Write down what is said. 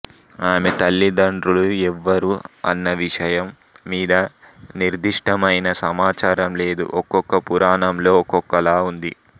ఈమె తల్లిదండ్రులు ఎవ్వరు అన్న విషయం మీద నిర్ధిష్ఠమైన సమాచారం లేదు ఒకొక్క పురాణం లో ఒకొక్కలా ఉంది